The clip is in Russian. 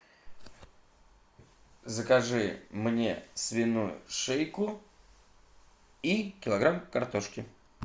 закажи мне свиную шейку и килограмм картошки